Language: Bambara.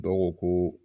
Dɔw ko ko